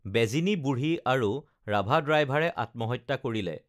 বেজিনী বুঢ়ী আৰু ৰাভা ড্ৰাইভাৰে আত্মহত্যা কৰিলে